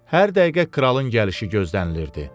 Hər dəqiqə kralın gəlişi gözlənilirdi.